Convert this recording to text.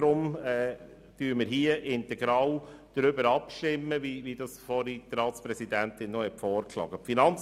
Deshalb stimmen wir hierüber integral ab, wie die Ratspräsidentin vorgeschlagen hat.